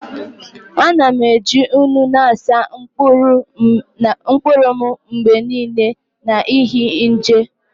Ana m eji nnu na-asa mkpụrụ m mgbe niile n'ihi nje